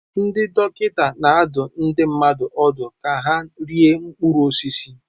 Ndị dọkịta na-adụ ndị mmadụ ọdụ ka ha rie mkpụrụ osisi.